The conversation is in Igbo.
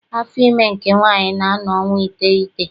Afọ ime nke nwaanyị na-anọ ọnwa iteghete.